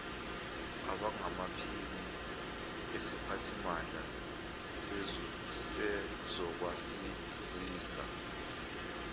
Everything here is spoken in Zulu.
abangamaphini esiphathimandla sezokwazisa